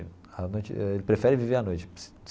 A noite eh ele prefere viver à noite.